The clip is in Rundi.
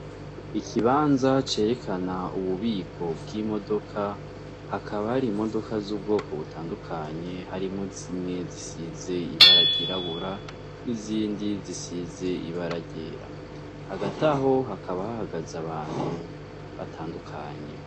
Ikibanza cerekana ububiko bw'imodoka hakaba hari modoka z'ubwoko butandukanye harimwo zimwe zisize ibara ryirabura n'izindi zisize ibara ryera hagati aho hakaba hahagaze abantu batandukanye